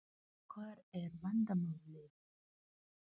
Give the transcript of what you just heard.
Hvar er vandamálið?